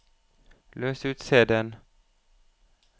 løs ut CD-en